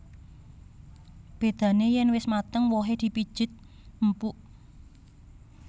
Bédané yèn wis mateng wohé dipijet empuk